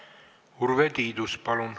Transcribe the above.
Urve Tiidus, palun!